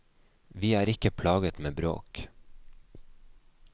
Vi er ikke plaget med bråk.